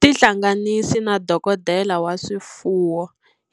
Tihlanganisi na dokodela wa swifuwo